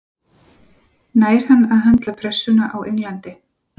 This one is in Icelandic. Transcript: Nær hann að höndla pressuna á Englandi?